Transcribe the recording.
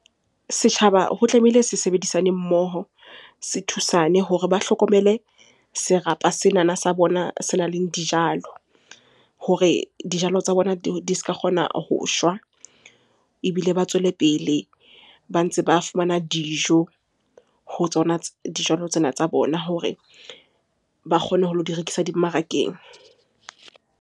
Setjhaba ho tlamehile se sebedisane mmoho, se thusane hore ba hlokomele serapa senana sa bona senang le dijalo hore dijalo tsa bona di ska kgona ho shwa. Ebile ba tswele pele ba ntse ba fumana dijo ho tsona dijalo tsena tsa bona hore ba kgone ho lo di rekisa dimmarakeng.